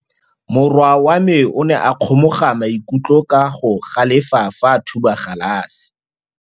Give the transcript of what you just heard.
Morwa wa me o ne a kgomoga maikutlo ka go galefa fa a thuba galase.